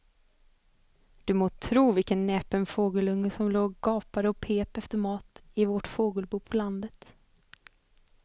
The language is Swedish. Du må tro vilken näpen fågelunge som låg och gapade och pep efter mat i vårt fågelbo på landet.